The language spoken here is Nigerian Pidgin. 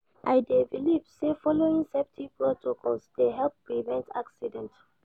I dey believe say following saftety protocols dey help prevent accident.